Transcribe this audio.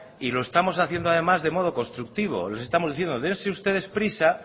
y lo estamos haciendo además de modo constructivo estamos diciendo dense ustedes prisa